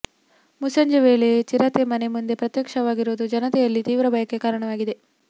ಮುಸ್ಸಂಜೆ ವೇಳೆಯೇ ಚಿರತೆ ಮನೆ ಮುಂದೆ ಪ್ರತ್ಯಕ್ಷವಾಗಿರೋದು ಜನತೆಯಲ್ಲಿ ತೀವ್ರ ಭಯಕ್ಕೆ ಕಾರಣವಾಗಿದೆ